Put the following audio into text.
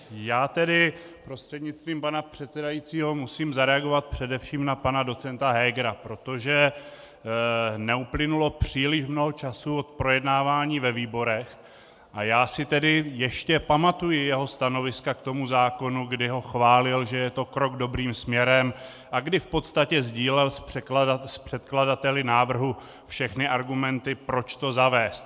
Já tedy prostřednictvím pana předsedajícího musím zareagovat především na pana docenta Hegera, protože neuplynulo příliš mnoho času od projednávání ve výborech a já si tedy ještě pamatuji jeho stanoviska k tomu zákonu, kdy ho chválil, že je to krok dobrým směrem, a kdy v podstatě sdílel s předkladateli návrhu všechny argumenty, proč to zavést.